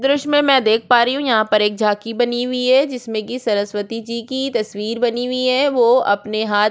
दृश्य में मै देख पा रही हु यहाँ पर एक झांकी बनी हुई है जिसमे की सरस्वती जी की तस्वीर बनी हुई है वो अपने हाथ में --